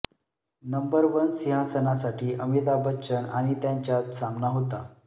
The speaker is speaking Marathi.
नंबर वन सिंहासनासाठी अमिताभ बच्चन आणि त्यांच्यात सामना होता